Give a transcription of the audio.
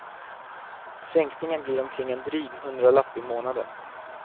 Sänkningen blir omkring en dryg hundralapp i månaden.